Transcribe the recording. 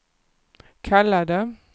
kallade